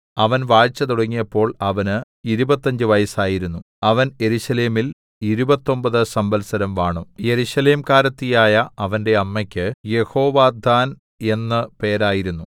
അവൻ വാഴ്ച തുടങ്ങിയപ്പോൾ അവന് ഇരുപത്തഞ്ച് വയസ്സായിരുന്നു അവൻ യെരൂശലേമിൽ ഇരുപത്തൊമ്പത് സംവത്സരം വാണു യെരൂശലേംകാരിയായ അവന്റെ അമ്മക്ക് യെഹോവദ്ദാൻ എന്ന് പേരായിരുന്നു